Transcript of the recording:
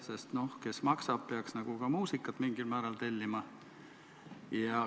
Sest see, kes maksab, peaks nagu ka muusika mingi määral tellima.